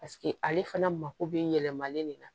Paseke ale fana mako bɛ yɛlɛmalen de la